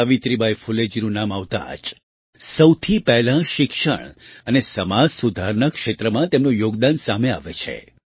સાવિત્રીબાઈ ફૂલેજીનું નામ આવતાં જ સૌથી પહેલાં શિક્ષણ અને સમાજ સુધારના ક્ષેત્રમાં તેમનું યોગદાન સામે આવે છે